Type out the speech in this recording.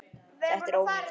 Þetta er ónýtt.